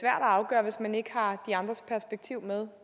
at afgøre hvis man ikke har de andres perspektiv med